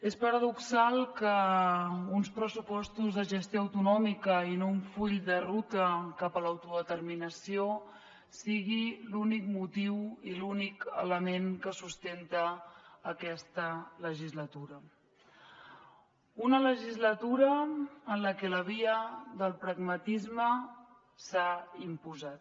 és paradoxal que uns pressupostos de gestió autonòmica i no un full de ruta cap a l’autodeterminació sigui l’únic motiu i l’únic element que sustenta aquesta legislatura una legislatura en la que la via del pragmatisme s’ha imposat